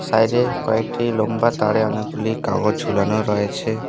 বাইরে কয়েকটি লোম্বা তারে অনেকগুলি কাগজ ঝুলানো রয়েছে।